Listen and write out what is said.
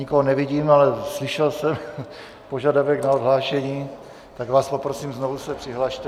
Nikoho nevidím, ale slyšel jsem požadavek na odhlášení, tak vás poprosím, znovu se přihlaste.